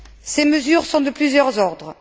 Ces mesures sont de plusieurs ordres.